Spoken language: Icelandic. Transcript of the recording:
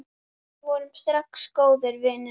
Við urðum strax góðir vinir.